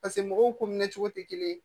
Paseke mɔgɔw ko minɛ cogo tɛ kelen ye